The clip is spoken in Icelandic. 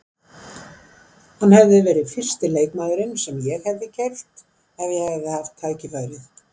Hann hefði verið fyrsti leikmaðurinn sem ég hefði keypt ef ég hefði haft tækifærið.